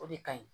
O de ka ɲi